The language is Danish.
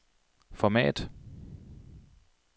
format